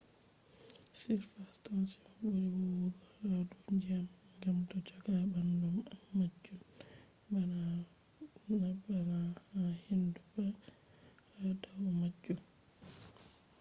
surface tension buri huwugo ha dou ndyiam gam do joga bandum am majun nabana ha hindu bah ha dau majun